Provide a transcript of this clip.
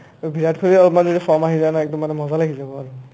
অ বিৰাট কোহলিৰ অলপমান যেতিয়া form আহি যায় ন একদম মজা লাগি যাব আৰু